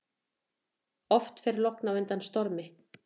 Oft fer logn á undan stormi.